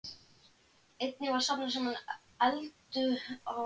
Einnig var safnað saman eldunaráhöldum og tiltækum sængurfatnaði.